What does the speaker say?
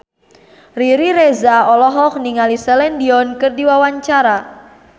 Riri Reza olohok ningali Celine Dion keur diwawancara